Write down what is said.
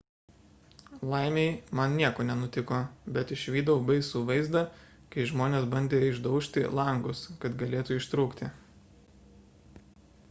laimei man nieko nenutiko bet išvydau baisų vaizdą kai žmonės bandė išdaužti langus kad galėtų ištrūkti